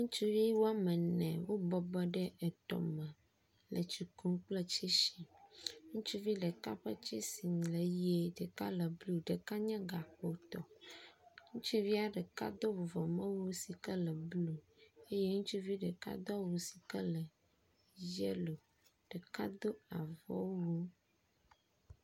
ŋutsuvi woamene wó bɔbɔ ɖe etɔ me etsi kum kple tsɛsi ŋutsuvi ɖeka ƒe tsɛsi le yie ɖeka le blu ɖeka nye gakpo tɔ ŋutsuvia ɖeka dó vuvɔme wu sike le blu eye ŋutsuvi ɖeka dó awu sike le yellow ɖeka dó avɔwu